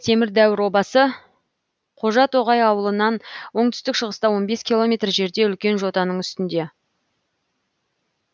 темір дәуір обасы қожатоғай ауылынан оңтүстік шығыста он бес километр жерде үлкен жотаның үстінде